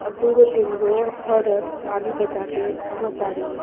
अ दू गो तीन गो औरत ताली बजा के घूम ताड़ी।